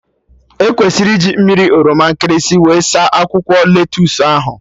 E kwesịrị iji mmiri oroma nkịlịsị wee saa akwụkwọ lettusu ahụ